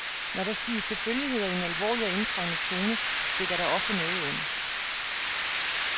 Når der siges selvfølgeligheder i en alvorlig og indtrængende tone, stikker der ofte noget under.